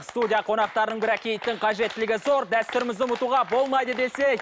студия қонақтарының бірі киіттің қажеттілігі зор дәстүрімізді ұмытуға болмайды десе